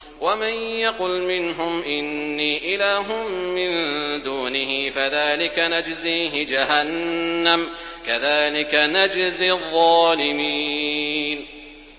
۞ وَمَن يَقُلْ مِنْهُمْ إِنِّي إِلَٰهٌ مِّن دُونِهِ فَذَٰلِكَ نَجْزِيهِ جَهَنَّمَ ۚ كَذَٰلِكَ نَجْزِي الظَّالِمِينَ